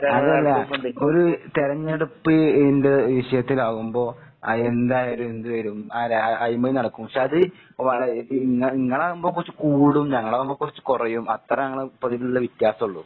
അതല്ല ഒരു തെരഞ്ഞെടുപ്പിന്റെ വിഷയത്തിലാവുമ്പോ അത് എന്തായാലും എന്ത് വരും അല്ല അഴിമതി നടക്കും. പക്ഷെ അത് വള ഇത് ഇങ്ങ ഇങ്ങളാവുമ്പ കൊറച്ച് കൂടും, ഞങ്ങളാവുമ്പ കൊറച്ച് കൊറയും. അത്ര ഞങ്ങള് ഇപ്പതിലുള്ള വ്യത്യാസം ഉള്ളു.